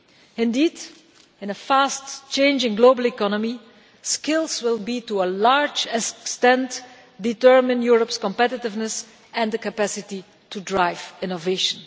Indeed, in a fast changing global economy, skills will, to a large extent, determine Europe's competitiveness and the capacity to drive innovation.